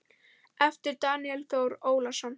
eftir Daníel Þór Ólason